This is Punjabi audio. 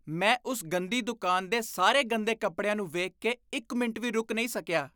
ਮੈਂ ਉਸ ਗੰਦੀ ਦੁਕਾਨ ਦੇ ਸਾਰੇ ਗੰਦੇ ਕੱਪੜਿਆਂ ਨੂੰ ਵੇਖ ਕੇ ਇੱਕ ਮਿੰਟ ਵੀ ਰੁਕ ਨਹੀਂ ਸਕਿਆ।